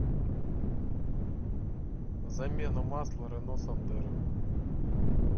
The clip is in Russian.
замена масла рено сандера